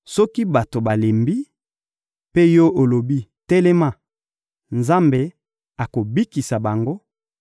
Soki bato balembi, mpe yo olobi: ‹Telema!› Nzambe akobikisa bango,